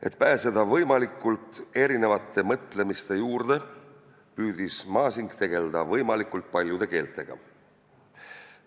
Et pääseda võimalikult erisuguste mõtlemiste juurde, püüdis Masing tegelda võimalikult paljude keeltega.